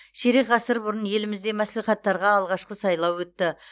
ширек ғасыр бұрын елімізде мәслихаттарға алғашқы сайлау өтті